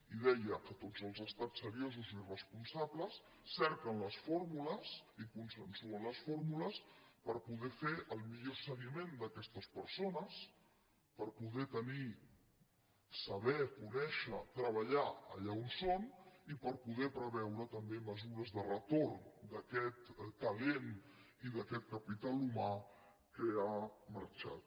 i deia que tots els estats seriosos i responsables cerquen les fórmules i consensuen les fórmules per poder fer el millor seguiment d’aquestes persones per poder tenir saber conèixer treballar allà on són i per poder preveure també mesures de retorn d’aquest talent i d’aquest capital humà que ha marxat